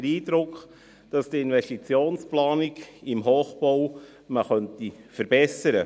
Sie hat den Eindruck, dass die Investitionsplanung im Hochbau verbessert werden könnte.